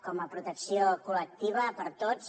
com a protecció col·lectiva per a tots